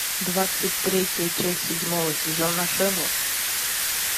двадцать третья часть седьмого сезона шерлок